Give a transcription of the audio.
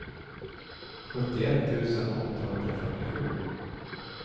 sjuttioett tusen åttahundrafyrtiosju